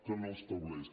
que no l’estableix